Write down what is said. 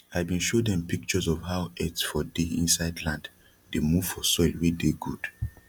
i bin show dem pictures of how earth for dey insid land dey move for soil wey dey gud